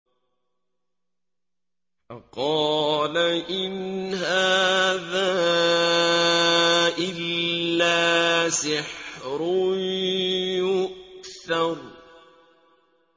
فَقَالَ إِنْ هَٰذَا إِلَّا سِحْرٌ يُؤْثَرُ